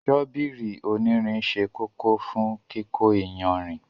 Ṣọ́bíìrì onírìn sẹ́ kòkò fún kíkó ìyànrin.